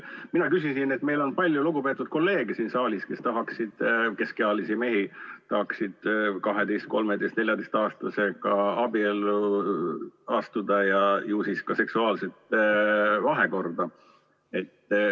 Mina küsisin, et meil on palju lugupeetud kolleege siin saalis, keskealisi mehi, kes tahaksid 12-, 13-, 14-aastasega abiellu astuda ja ju siis ka seksuaalset vahekorda.